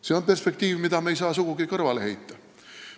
See on perspektiiv, mida me ei saa sugugi kõrvale heita.